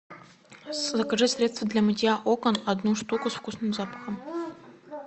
закажи средство для мытья окон одну штуку с вкусным запахом